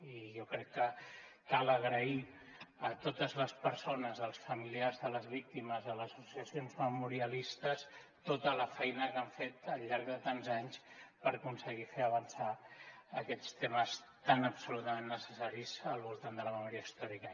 i jo crec que cal agrair a totes les persones els familiars de les víctimes a les associacions memorialistes tota la feina que han fet al llarg de tants anys per aconseguir fer avançar aquests temes tan absolutament necessaris al voltant de la memòria històrica